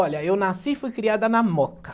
Olha, eu nasci e fui criada na Moca.